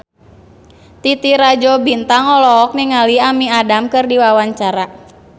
Titi Rajo Bintang olohok ningali Amy Adams keur diwawancara